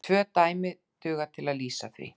Tvö dæmi duga til að lýsa því.